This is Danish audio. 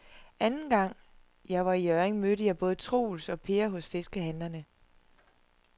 Anden gang jeg var i Hjørring, mødte jeg både Troels og Per hos fiskehandlerne.